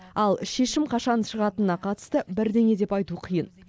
ал шешім қашан шығатынына қатысты бірдеңе деп айту қиын